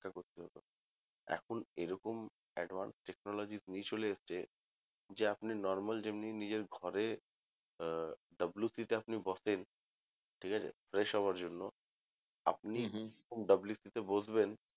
এখন এরকম advanced technology চলে এসছে যে আপনি normal যেমনি নিজের ঘরে আহ WC তে আপনি বসেন ঠিক আছে fresh হওয়ার জন্য আপনি WC তে বসবেন